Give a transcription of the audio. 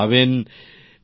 প্রেম জী নিশ্চয় স্যার